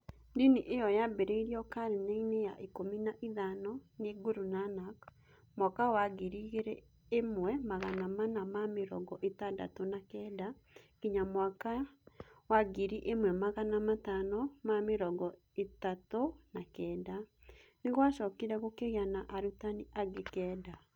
Ndini ĩyo yambĩrĩirio karine-inĩ ya ikũmi na ithano[ 15] nĩ Guru Nanak ( mwaka wa ngiri ĩmwe magana mana ma mĩrongo ĩtandatũ na kenda [1469] nginya mawaka wa ngiri ĩmwe magana matano ma mĩrongo ĩtatũ na kenda[1539]). Nĩ kwacokire kũgĩa na arutani angĩ kenda.